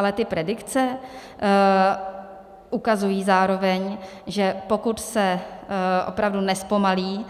Ale ty predikce ukazují zároveň, že pokud se opravdu nezpomalí